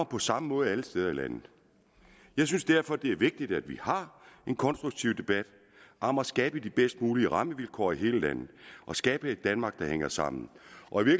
på samme måde alle steder i landet jeg synes derfor det er vigtigt at vi har en konstruktiv debat om at skabe de bedst mulige rammevilkår i hele landet at skabe et danmark der hænger sammen